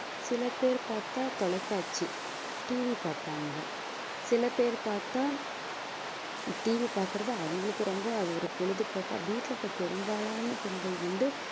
சில பேர் பாத்தா தொலைக்காட்சி TV பாப்பாங்க சில பேர் பாத்தா TV பாக்குறது அவங்களுக்கு ரொம்ப அது ஒரு பொழுதுபோக்கா வீட்ல இப்ப பெரும்பாலான பெண்கள் வந்து